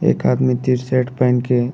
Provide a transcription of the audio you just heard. एक आदमी त्रिसेट पहिन के --